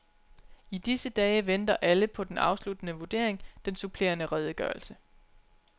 I disse dage venter alle på den afsluttende vurdering, den supplerende redegørelse.